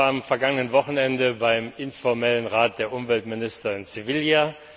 Ich war am vergangenen Wochenende beim informellen Rat der Umweltminister in Sevilla.